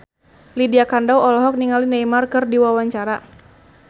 Lydia Kandou olohok ningali Neymar keur diwawancara